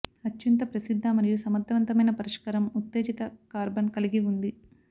అత్యంత ప్రసిద్ధ మరియు సమర్థవంతమైన పరిష్కారం ఉత్తేజిత కార్బన్ కలిగి ఉంది